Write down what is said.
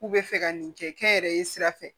K'u bɛ fɛ ka nin kɛ n yɛrɛ ye sira fɛ